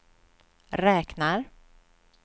räknar